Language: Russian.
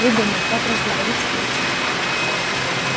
придумал как разговорить петю